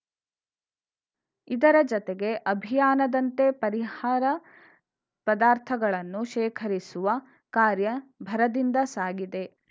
ಇದರ ಜತೆಗೆ ಅಭಿಯಾನದಂತೆ ಪರಿಹಾರ ಪದಾರ್ಥಗಳನ್ನು ಶೇಖರಿಸುವ ಕಾರ್ಯ ಭರದಿಂದ ಸಾಗಿದೆ